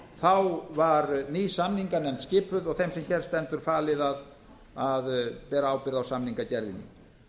þá var ný samninganefnd skipuð og þeim sem hér stendur falið að bera ábyrgð á samningagerðinni